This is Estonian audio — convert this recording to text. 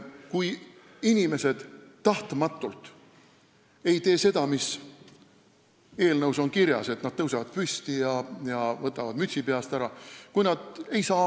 Kui inimesed ei tee tahtmatult seda, mis on eelnõus kirjas, st nad ei tõuse püsti ega võta mütsi peast ära, siis on see mõistetav.